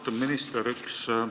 Austatud minister!